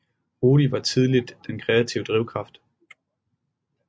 Rudi var tidligt den kreative drivkraft